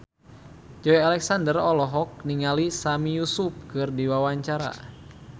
Joey Alexander olohok ningali Sami Yusuf keur diwawancara